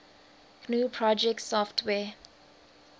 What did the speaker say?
gnu project software